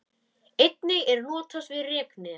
Einnig er notast við reknet.